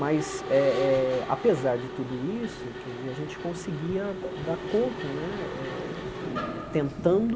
Mas, eh eh apesar de tudo isso, quer dizer a gente conseguia dar dar conta né eh eh tentando